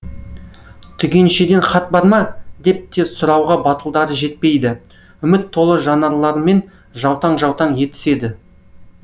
түгеншеден хат бар ма деп те сұрауға батылдары жетпейді үміт толы жанарларымен жаутаң жаутаң етіседі